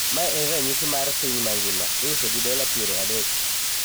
ma en ranyisi mar piny mangima, iuso gi dola piero adek.